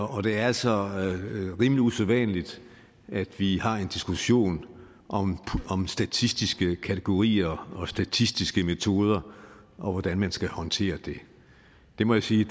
det er altså rimelig usædvanligt at vi har en diskussion om om statistiske kategorier og statistiske metoder og hvordan man skal håndtere det det må jeg sige